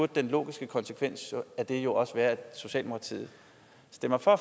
den logiske konsekvens af det jo også være at socialdemokratiet stemmer for